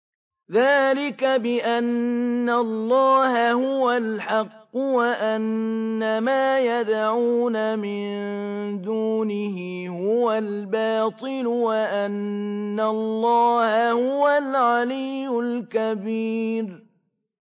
ذَٰلِكَ بِأَنَّ اللَّهَ هُوَ الْحَقُّ وَأَنَّ مَا يَدْعُونَ مِن دُونِهِ هُوَ الْبَاطِلُ وَأَنَّ اللَّهَ هُوَ الْعَلِيُّ الْكَبِيرُ